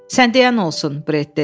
Sən deyən olsun, Bret dedi.